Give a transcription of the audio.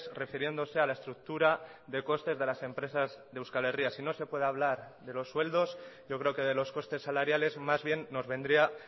refiriéndose a la estructura de costes de las empresas de euskal herria si no se puede hablar de los sueldos yo creo que de los costes salariales más bien nos vendría